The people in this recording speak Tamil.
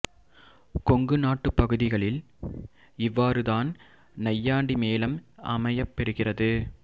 கொங்கு நாட்டுப் பகுதிகளில் இவ்வாறு தான் நையாண்டி மேளம் அமையப்பெறுகிறது